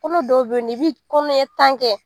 Kɔnɔdɔw bɛ yen i bi kɔnɔ ɲɛ tan kɛ